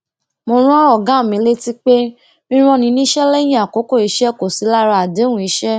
mo rán ògá mi létí pé rírán ni níṣẹ léyìn àkókò iṣé kò sí lára àdéhùn iṣẹ